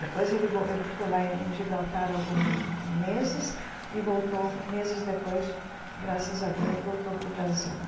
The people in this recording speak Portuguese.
Depois ele vol ele ficou lá em Gibraltar alguns meses e voltou meses depois, graças a Deus, voltou para o Brasil.